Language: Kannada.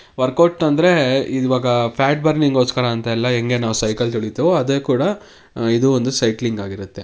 ವರ್ಕೌಟ್ ಅಂದ್ರೆ ಇವಾಗ ಫ್ಯಾಟ್ ಬರ್ನಿಂಗ್ ಗೋಸ್ಕರ ಅಂತೆ. ನಾವ್ ಹೆಂಗೆ ಸೈಕಲ್ ತುನಿತೀವೋ ಅದೇ ತರ ಇದು ಒಂದು ಸೈಕ್ಲಿಂಗ್ ಆಗಿರುತ್ತೆ.